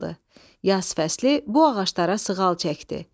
Yaz fəsli bu ağaclara sığal çəkdi.